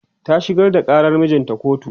ta shigar da ƙarar mijinta kotu